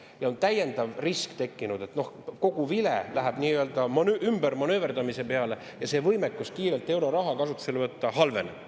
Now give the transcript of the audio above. On tekkinud täiendav risk, et kogu vile läheb nii-öelda ümbermanööverdamise peale ja võimekus euroraha kiirelt kasutusele võtta halveneb.